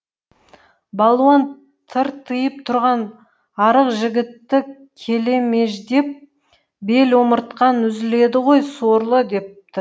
балуан тыртыйып тұрған арық жігітті келемеждеп бел омыртқаң үзіледі ғой сорлы депті